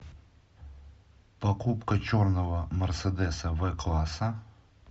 покупка черного мерседеса в класса